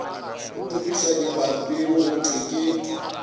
topišwa dipampiri go thwe ke